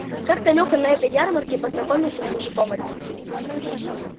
как-то лёха на этой ярмарке познакомился с мужиком одним